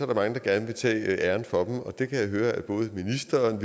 der mange der gerne vil tage æren for dem og det kan jeg høre at både ministeren